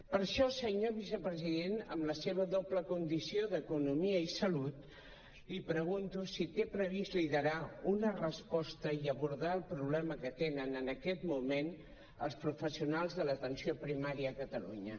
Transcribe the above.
per això senyor vicepresident amb la seva doble condició d’economia i salut li pregunto si té previst liderar una resposta i abordar el problema que tenen en aquest moment els professionals de l’atenció primària a catalunya